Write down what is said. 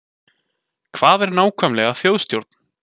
Hvað er nákvæmlega þjóðstjórn?